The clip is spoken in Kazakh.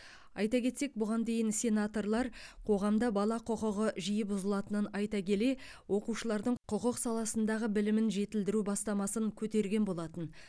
айта кетсек бұған дейін сенаторлар қоғамда бала құқығы жиі бұзылатынын айта келе оқушылардың құқық саласындағы білімін жетілдіру бастамасын көтерген болатын